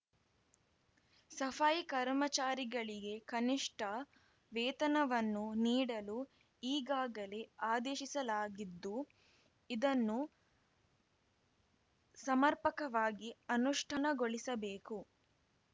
ಸಫಾಯಿ ಕರ್ಮಚಾರಿಗಳಿಗೆ ಕನಿಷ್ಠ ವೇತನವನ್ನು ನೀಡಲು ಈಗಾಗಲೇ ಆದೇಶಿಸಲಾಗಿದ್ದು ಇದನ್ನು ಸಮರ್ಪಕವಾಗಿ ಅನುಷ್ಠಾನಗೊಳಿಸಬೇಕು